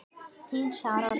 Þín, Sara Rós.